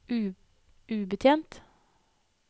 ubetjent